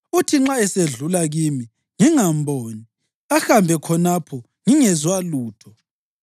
Uthi nxa esedlula kimi, ngingamboni; ahambe khonapho ngingezwa lutho.